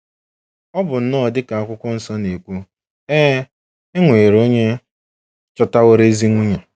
Ọ bụ nnọọ dị ka Akwụkwọ Nsọ na-ekwu: “ È È nwere onye chọtaworo ezi nwunye?